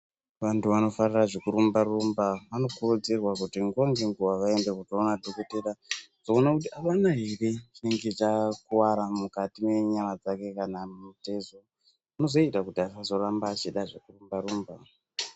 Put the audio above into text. Antu anofarira zvekurumba rumba anokurudzirwa nguwa ngenguwa kuti vaend ekunoona dhokotera kuone kuti avana ere chinenge chakuwara mukati mwenyama dzake kana mutezo zvinozoita kuti asazoramba achida zvekurumba rumba.